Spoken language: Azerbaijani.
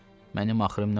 Mənim axırım nə olacaq?